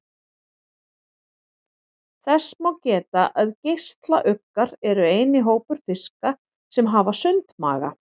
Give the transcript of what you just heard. Þess má geta að geislauggar eru eini hópur fiska sem hafa sundmaga.